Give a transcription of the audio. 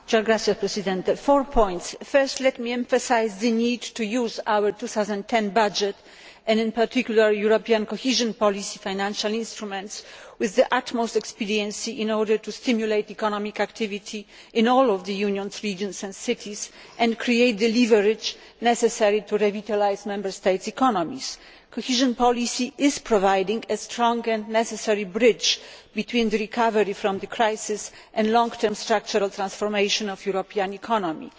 Mr President, I should like to make four points. Firstly let me emphasise the need to use our 2010 budget and, in particular, the European cohesion policy financial instruments, with the utmost expediency in order to stimulate economic activity in all of the Union's regions and cities and create the leverage necessary to revitalise Member States' economies. Cohesion policy is providing a strong and necessary bridge between recovery from the crisis and long term structural transformation of the European economy.